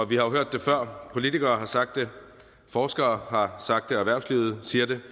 vi har hørt det før politikere har sagt det forskere har sagt det og erhvervslivet siger det